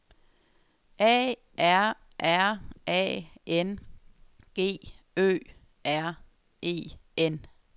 A R R A N G Ø R E N